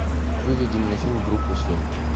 выведи мне фильм группа семь